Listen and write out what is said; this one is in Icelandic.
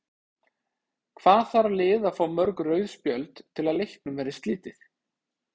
Hvað þarf lið að fá mörg rauð spjöld til að leiknum verði slitið?